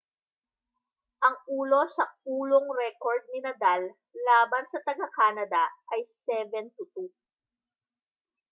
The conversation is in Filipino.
ang ulo-sa-ulong rekord ni nadal laban sa taga-canada ay 7-2